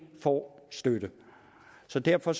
får støtte så derfor